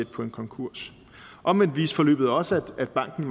på en konkurs omvendt viste forløbet også at banken